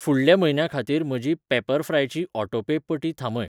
फुडल्या म्हयन्या खातीर म्हजी पॅपरफ्राय ची ऑटोपे पटी थांबय.